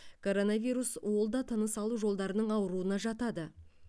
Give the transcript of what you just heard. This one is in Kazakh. коронавирус ол да тыныс алу жолдарының ауруына жатады